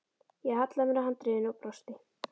Ég hallaði mér að handriðinu og brosti.